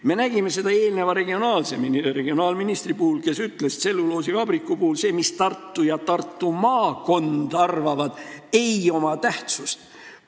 Me nägime seda eelmise regionaalministri puhul, kes ütles, et tselluloosivabriku puhul see, mida Tartu ja Tartu maakond arvavad, ei oma tähtsust.